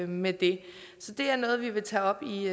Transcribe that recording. med det så det er noget som vi vil tage op i